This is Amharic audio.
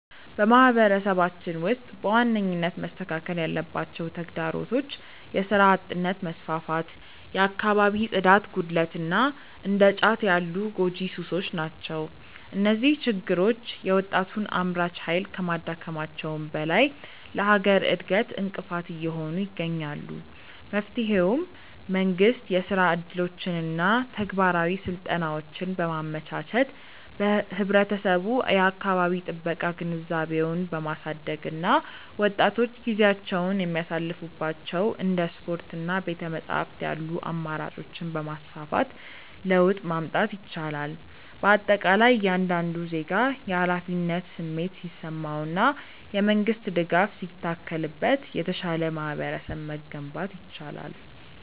በማህበረሰባችን ውስጥ በዋነኝነት መስተካከል ያለባቸው ተግዳሮቶች የሥራ አጥነት መስፋፋት፣ የአካባቢ ጽዳት ጉድለት እና እንደ ጫት ያሉ ጎጂ ሱሶች ናቸው። እነዚህ ችግሮች የወጣቱን አምራች ኃይል ከማዳከማቸውም በላይ ለሀገር እድገት እንቅፋት እየሆኑ ይገኛሉ። መፍትሄውም መንግስት የሥራ ዕድሎችንና ተግባራዊ ስልጠናዎችን በማመቻቸት፣ ህብረተሰቡ የአካባቢ ጥበቃ ግንዛቤውን በማሳደግ እና ወጣቶች ጊዜያቸውን የሚያሳልፉባቸው እንደ ስፖርትና ቤተ-መጻሕፍት ያሉ አማራጮችን በማስፋፋት ለውጥ ማምጣት ይቻላል። በአጠቃላይ እያንዳንዱ ዜጋ የኃላፊነት ስሜት ሲሰማውና የመንግስት ድጋፍ ሲታከልበት የተሻለ ማህበረሰብ መገንባት ይቻላል።